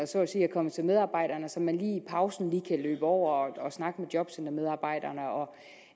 så at sige er kommet til medarbejderne så man lige i pausen kan løbe over og snakke med jobcentermedarbejderne og